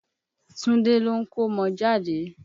Túndé ló ń kọ́mọjáde.